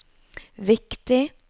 viktig